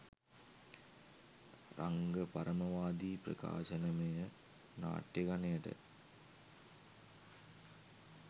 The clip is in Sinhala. රංග පරමවාදී ප්‍රකාශනමය නාට්‍ය ගණයට